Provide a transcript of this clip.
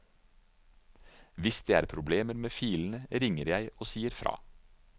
Hvis det er problemer med filene ringer jeg og sier fra.